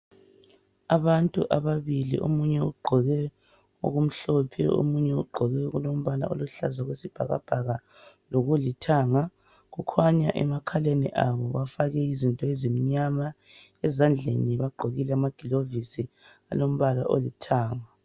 Abantu ababili omunye ugqoke okumhlophe omunye ugqoke okulombala oluhlaza okwesibhakabhaka lokulithanga. Kukhanya emakhaleni abo bafake izinto ezimnyama, ezandleni begqokile amagilovisi alombala olithanga.